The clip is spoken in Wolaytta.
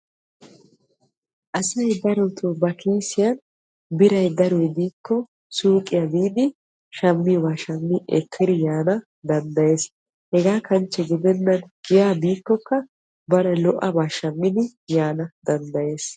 Asay darotto ba kiissiyan biray daroy de'ikko siyqqiya biiddi shammiyooba shammiddi ekkiddi yaana danddayees. Hegaa kanchche gidenna giya biiddikka baana koshiyaaba shammiddi yaana danddayees.